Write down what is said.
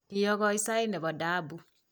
kiokoi sait ne bo daabu